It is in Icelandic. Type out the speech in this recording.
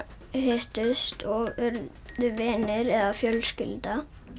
hittust og urðu vinir eða fjölskylda